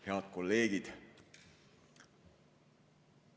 Head kolleegid!